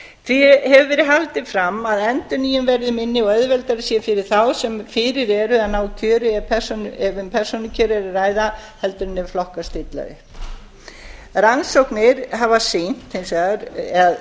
því hefur verið haldið fram að endurnýjun verði minni og auðveldara sé fyrir þá sem fyrir eru að ná kjöri ef um persónukjör er að ræða heldur en ef flokkar stilla upp